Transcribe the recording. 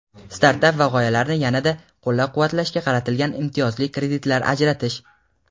startap va g‘oyalarini yana-da qo‘llab-quvvatlashga qaratilgan imtiyozli kreditlar ajratish;.